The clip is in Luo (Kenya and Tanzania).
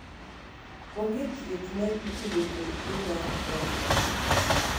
onge thieth ma itudo kod tuo mar crohn